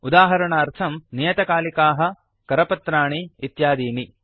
उदाहरणार्थम् नियतकालिकाः करपत्राणि इत्यादीनि